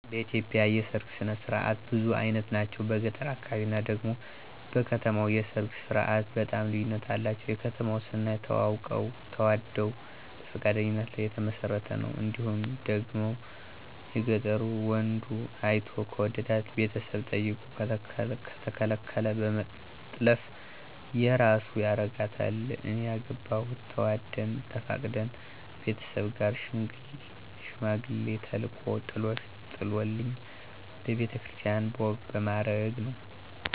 በኢትዮጵያ የሠርግ ስነ ስርዓት ብዙ አይነት ናቸው። በገጠሩ አካባቢ እና ደግሞ በከተማው የሰርግ ስርዓቱ በጣም ልዩነት አላቸው። የከተማው ስናይ ተዋውቀው ተዋደው በፈቃደኝነት ላይ የተመሰረተ ነው እንዲሁም ደግሞ የገጠሩ ወንዱ አይቶ ከወደዳት ቤተሰብ ጠይቆ ከተከለከለ በመጥለፍ የራሱ ያረጋታል። እኔ ያገባሁት ተዋደን ተፈቃቅደን ቤተሠብ ጋር ሽማግሌ ተልኮ ጥሎሽ ጥሎልኝ በቤተ ክርስቲያን በወግ በማረግ ነው።